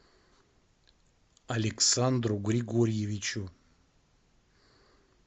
александру григорьевичу